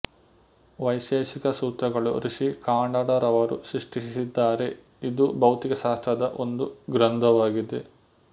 ವೈಶೇಷಿಕ ಸೂತ್ರಗಳು ಋಷಿ ಕಾನಡರವರು ಸೃಷ್ಟಿಸಿದ್ದಾರೆಇದು ಭೌತಿಕ ಶಾಸ್ತ್ರದ ಒಂದು ಗ್ರಂಧವಾಗಿದೆ